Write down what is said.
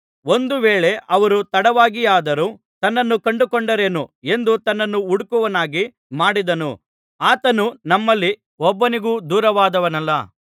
ಒಂದು ವೇಳೆ ಅವರು ತಡವಾಗಿಯಾದರೂ ತನ್ನನ್ನು ಕಂಡುಕೊಂಡಾರೇನೋ ಎಂದು ತನ್ನನ್ನು ಹುಡುಕುವವರನ್ನಾಗಿ ಮಾಡಿದನು ಆತನು ನಮ್ಮಲ್ಲಿ ಒಬ್ಬನಿಗೂ ದೂರವಾದವನಲ್ಲ